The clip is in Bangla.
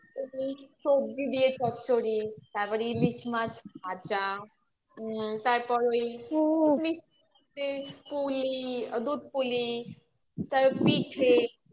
সবজি দিয়ে চচ্চড়ি ইলিশ মাছ ভাজা তারপর ওই পুলি, দুধ পুলি তারপর পিঠে